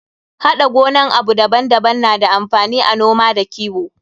Haɗa gonan abu daban daban na da amfani a noma da kiwo.